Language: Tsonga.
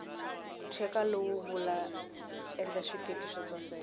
cheka lowu wula endla xiketi xosaseka